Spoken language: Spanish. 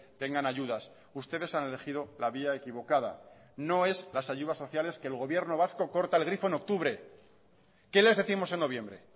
tengan ayudas ustedes han elegido la vía equivocada no es las ayudas sociales que el gobierno vasco corta el grifo en octubre qué les décimos en noviembre